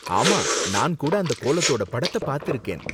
ஆமா, நான் கூட அந்த கோலத்தோட படத்த பாத்திருக்கேன்.